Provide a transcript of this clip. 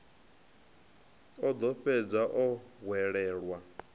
o ḓo fhedza o hwelelwa